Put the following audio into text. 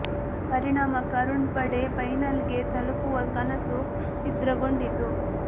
ಪರಿಣಾಮ ಕರುಣ್ ಪಡೆ ಫೈನಲ್ ಗೆ ತಲುಪುವ ಕನಸು ಛಿದ್ರ ಗೊಂಡಿತು